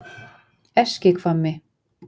Eskihvammi